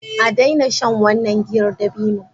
A daina shan wannan giyar dabino!